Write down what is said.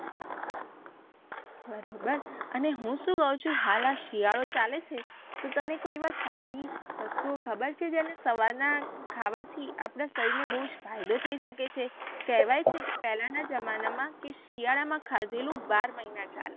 બરોબર અને હું શું કઉ છું હાલ આ શિયાળો ચાલે છે તો તને કોઈ એવા સારી વસ્તુઓ ખબર છે જેને સવાર ના ખાવાથી આપડા શરીર ને બૌજ ફાયદો થઇ સકે છે કહેવાય છે કે પેહલા ના જમાનામાં કે શિયાળામાં ખાધેલું બાર મહિના ચાલે.